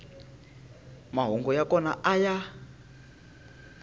mahungu ya kona a ya